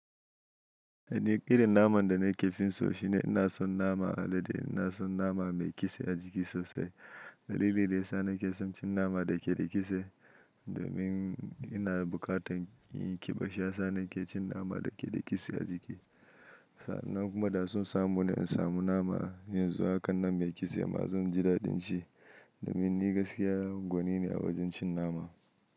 Eh ni ƙirin naman da nake finso shine ina son naman alade, ina son nama mai kitse a jiki sosai. Dalili da ya sa nake son cin nama da ke da kitse domin ina buƙatar inyi ƙiɓa shiyasa nake cin nama da ke da kitse a jiki. Sa'an nan kuma da son samu na in samu nama, yanzu hakannan mai kitse ma zan ji daɗin shi, domin ni gaskiya gwanine a wajen cin nama.